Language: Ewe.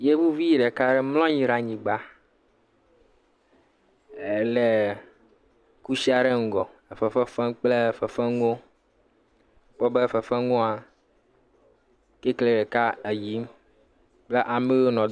Yevuvi ɖeka aɖe mlɔ anyi ɖe anyigba, elé kusi ɖe ŋge le fefe fem kple fefe nuwo, wobe fefe nuwoa, titri ɖeka eyiyim kple ame yiwo nɔ.